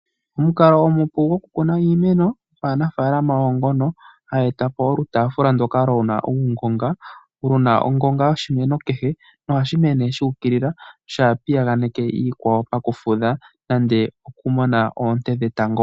Omukalo onupu gwokukuna iimeno kanafaalama ogo ngono haya etapo olutaafula luna uungonga. Oluna ongonga yoshimeno kehe ohashi koko shuukilila shaapiyaganeke oshikwawo pokufutha nenge okumona oonte dhetango.